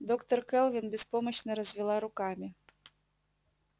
доктор кэлвин беспомощно развела руками